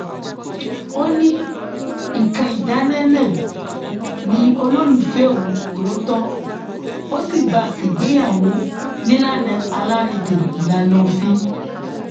ó ní nǹkan ìdáná náà ni olólùfẹ òun tòótọ ó sì bá a ṣègbéyàwó nílànà alárédè ìlànà òfin